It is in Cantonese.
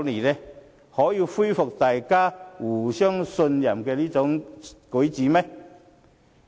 是否可以恢復大家互相信任的舉措？